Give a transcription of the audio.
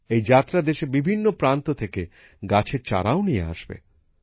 এই যাত্রা দেশের বিভিন্ন প্রান্ত থেকে গাছের চারাও নিয়ে আসবে